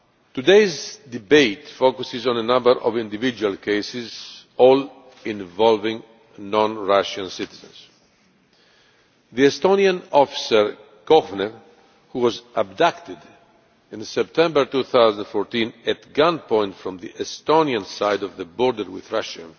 Today's debate focuses on a number of individual cases all involving non Russian citizens the Estonian officer Kohver, who was abducted in September 2014 at gunpoint from the Estonian side of the border with Russia.